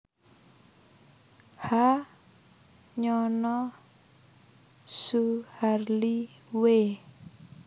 H Nyono Suharli W